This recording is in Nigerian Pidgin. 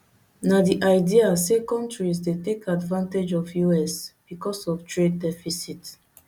na di idea say kontris dey take advantage of us becos of trade deficit